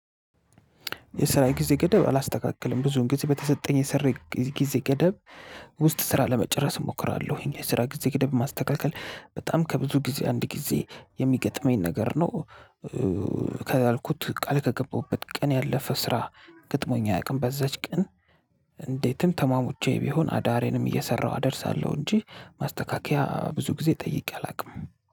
የስራ ጊዜ ገደብ አላስተካክልም ብዙን ጊዜ በተሰጠኝ የስራ ጊዜ ገደብ ውስጥ ስራ ለመጨረስ እሞክራለሁኝ። የስራ ጊዜ ገደብ ማስተካከል በጣም ከብዙ ጊዜ አንድ ጊዜ የሚገጥመኝ ነገር ነው። ካልኩት ቃል ከገባሁበት ቀን ያለፈ ስራ ግጥሞኝ አያውቅም። በዛች ቀን እንዴትም ተሟሙቼ ቢሆን አዳሬንም እየሰራሁ አደርሳለሁ። እንጂ ማስተካከያ ብዙ ጊዜ ጠይቄ አላውቅም